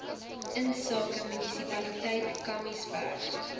insake munisipaliteit kamiesberg